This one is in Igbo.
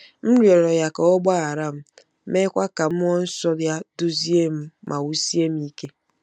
M rịọrọ ya ka ọ gbaghara m, meekwa ka mmụọ nsọ ya duzie m ma wusie m ike.